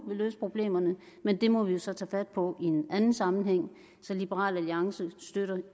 vil løse problemerne men det må vi jo så tage fat på i en anden sammenhæng så liberal alliance støtter